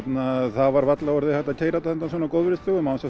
það var varla orðið hægt að keyra þetta á góðviðrisdögum án þess